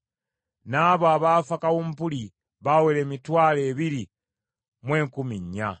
N’abo abaafa kawumpuli baawera emitwalo ebiri mu enkumi nnya.